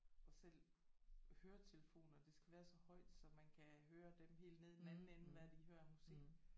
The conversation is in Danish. Og selv høretelefoner det skal være så højt så man kan høre dem helt nede i den anden ende hvad de hører af musik